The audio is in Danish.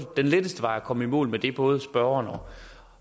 den letteste vej at komme i mål med det både spørgeren